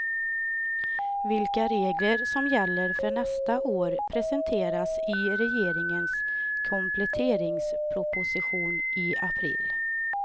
Vilka regler som gäller för nästa år presenteras i regeringens kompletteringsproposition i april.